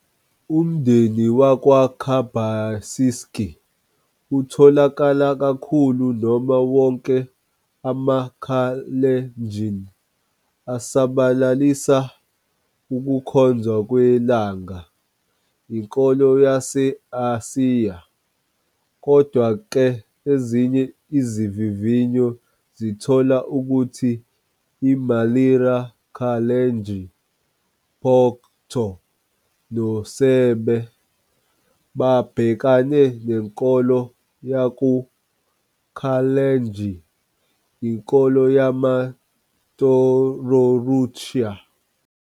Umndeni wakwaKibasisek otholakala kakhulu noma wonke amaKalenjin asabalalisa ukukhonzwa kwelanga, inkolo yase-Asiya. Kodwa-ke, ezinye izivivinyo zithola ukuthi iMaliri Kalenjin, Pokot noSebei, babhekane nenkolo yaku-Kalenjin, inkolo yamaTororutian.